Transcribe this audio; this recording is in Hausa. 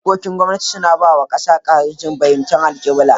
Dokokin gwamnati suna ba wa kasa fahimtar alkibla.